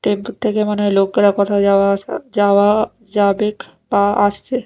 Train থেকে মনে হয় লোকেরা কোথাও যাওয়া-আসা যাওয়া যাবেক বা আসছে।